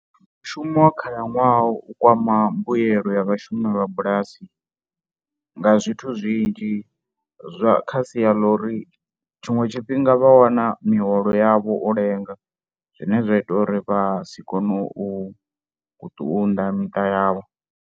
Mushumo wa khalaṅwaha u kwama mbuyelo ya vhashumi vha bulasi nga zwithu zwinzhi zwa, kha sia ḽa uri tshiṅwe tshifhinga vha wana miholo yavho u lenga zwine zwa ita uri vha si kone u tunḓa miṱa yavho.